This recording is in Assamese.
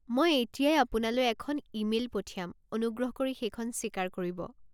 মই এতিয়াই আপোনালৈ এখন ইমেইল পঠিয়াম। অনুগ্ৰহ কৰি সেইখন স্বীকাৰ কৰিব।